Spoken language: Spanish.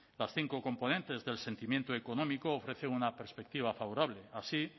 las cinco componentes del sentimiento económico ofrecen una perspectiva favorable así